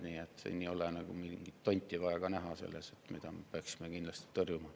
Siin ei ole vaja näha mingit tonti, mida me kindlasti peaksime tõrjuma.